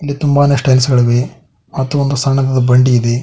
ತುಂಬಾನೇ ಟೈಲ್ಸ್ ಗಳಿವೆ ಮತ್ತು ಒಂದು ಸಣ್ಣದಾದ ಬಂಡಿ ಇದೆ.